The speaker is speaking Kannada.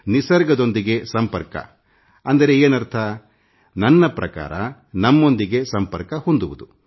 ನಿಸರ್ಗದೊಂದಿಗೆ ಸಂಪರ್ಕ ಅಂದರೆ ಏನರ್ಥ ನನ್ನ ಪ್ರಕಾರ ನಮ್ಮೊಂದಿಗೇ ನಾವೇ ಸಂಪರ್ಕ ಹೊಂದುವುದು